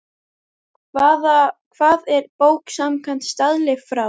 Hvað er bók samkvæmt staðli frá